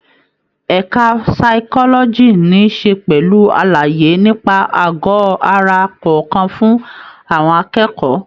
Ẹka physiology níí ṣe pẹ̀lú àlàyé nípa àgọ ara kọ̀ọ̀kan fún àwọn akẹ́kọ̀ọ́.